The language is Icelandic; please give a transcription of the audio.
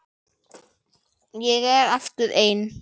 Ég er aftur ein.